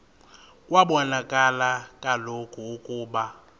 kwabonakala kaloku ukuba